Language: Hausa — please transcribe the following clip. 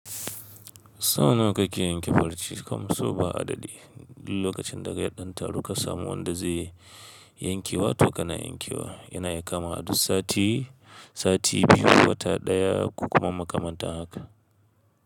Sau nawa kake yanke farce? Kam sau ba a dadi. Duk lokacin da ka ga ya ɗan taru ka samu wanda zai yankewa to kana yankewa. Yana iya kamawa duk sati, sati biyu, wata ɗaya ko kuma makamantan haka.